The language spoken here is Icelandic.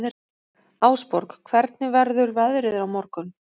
Ásborg, hvernig verður veðrið á morgun?